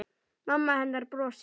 Mamma hennar brosir.